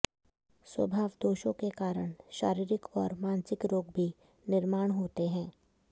स्वभावदोषों के कारण शारीरिक और मानसिक रोग भी निर्माण होते हैं